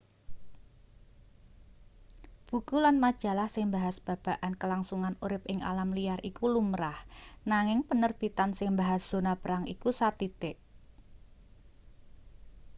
buku lan majalah sing mbahas babagan kelangsungan urip ing alam liar iku lumrah nanging penerbitan sing mbahas zona perang iku sathithik